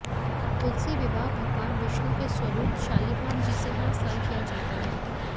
तुलसी विवाह भगवान विष्णु के स्वरूप शालीग्राम जी से हर साल किया जाता है